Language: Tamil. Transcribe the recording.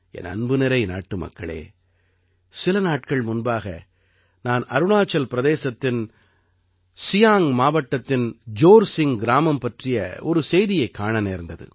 என் அன்பு நிறை நாட்டுமக்களே சில நாட்கள் முன்பாக நான் அருணாச்சல் பிரதேசத்தின் சியாங்க் மாவட்டத்தின் ஜோர்சிங்க் கிராமம் பற்றிய ஒரு செய்தியைக் காண நேர்ந்தது